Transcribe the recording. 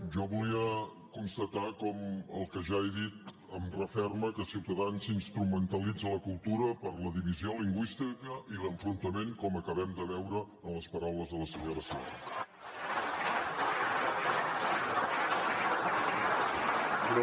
jo volia constatar com el que ja he dit em referma que ciutadans instrumentalitza la cultura per la divisió lingüística i l’enfrontament com acabem de veure en les paraules de la senyora sierra